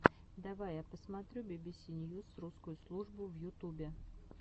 давай я посмотрю бибиси ньюс русскую службу в ютубе